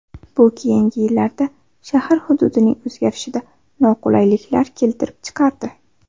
Bu keyingi yillarda shahar hududining o‘zgarishida noqulayliklar keltirib chiqardi.